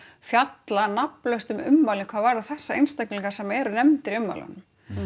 fjalla nafnlaust um ummælin hvað varðar þessa einstaklinga sem eru nefndir í ummælunum